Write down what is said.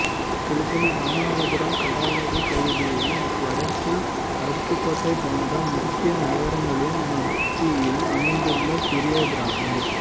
கிழக்கில் ராமநாதபுரம் கடலாடி பகுதியையும் வடக்கில் அருப்புக்கோட்டை போன்ற முக்கிய நகரங்களின் மத்தியில் அமைந்துள்ள சிறிய கிராமம்